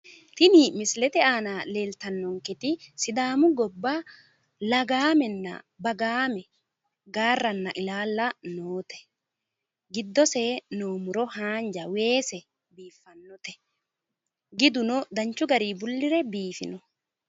Tini misilete aana leeltannonketi sidaamu gobba lagaamenna bagaame, gaarranna ilaalla noote. giddosi noo muro haanja, weese noote giduno danchu garinni bullire biifino.